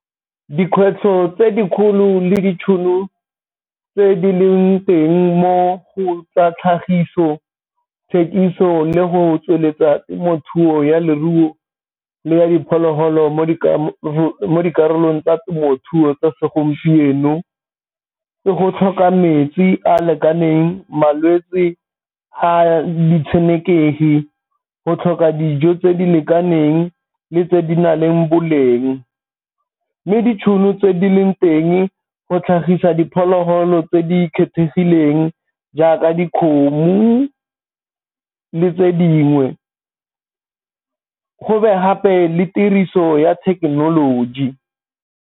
Dikgwetlho tse dikgolo le ditšhono tse di leng teng mo go tsa tlhagiso, tshekiso, le go tsweletsa temothuo ya leruo le ya diphologolo mo dikarolong tsa temothuo tsa segompieno. Ke go tlhoka metsi a lekaneng, malwetsi a ditshenekegi, go tlhoka dijo tse di lekaneng le tse di na leng boleng, mme ditšhono tse di leng teng go tlhagisa diphologolo tse di kgethegileng jaaka dikgomo le tse dingwe go be gape le tiriso ya thekenoloji.